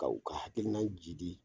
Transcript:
Ka u ka hakili na jidi